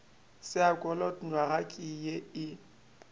saekholot nywaga ke ye e